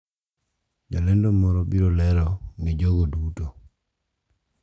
Jalendo moro biro lero ni jogo duto,